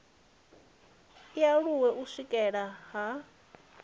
i aluwe u swikelelea ha